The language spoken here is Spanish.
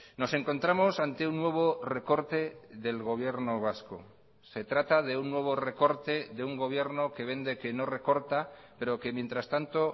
nos encontramos ante un nuevo recorte del gobierno vasco se trata de un nuevo recorte de un gobierno que vende que no recorta pero que mientras tanto